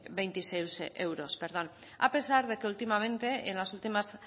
veintiséis euros a pesar de que últimamente en las últimas